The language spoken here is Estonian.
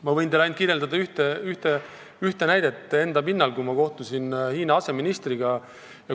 Ma võin teile kirjeldada ühte näidet enda kogemuse pinnalt, kui ma kohtusin Hiina aseministriga.